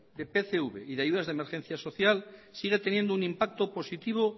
de pcv y de ayudas de emergencia social sigue tendiendo un impacto positivo